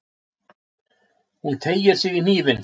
Hún teygir sig í hnífinn.